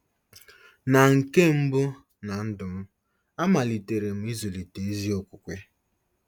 Na nke mbụ ná ndụ m, amalitere m ịzụlite ezi okwukwe..